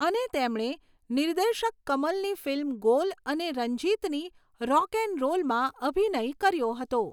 અને, તેમણે નિર્દેશક કમલની ફિલ્મ ગોલ અને રંજીતની રોક એન્ડ રોલમાં અભિનય કર્યો હતો.